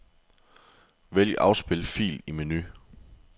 Vælg afspil fil i menu.